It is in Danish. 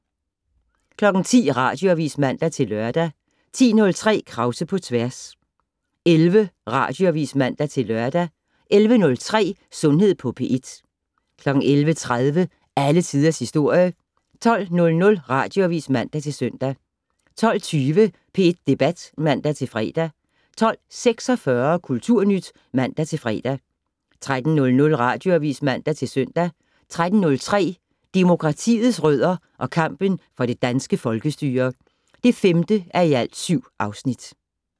10:00: Radioavis (man-lør) 10:03: Krause på tværs 11:00: Radioavis (man-lør) 11:03: Sundhed på P1 11:30: Alle Tiders Historie 12:00: Radioavis (man-søn) 12:20: P1 Debat (man-fre) 12:46: Kulturnyt (man-fre) 13:00: Radioavis (man-søn) 13:03: Demokratiets rødder og kampen for det danske folkestyre (5:7)